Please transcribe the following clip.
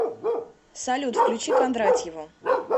салют включи кондратьеву